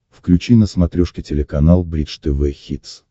включи на смотрешке телеканал бридж тв хитс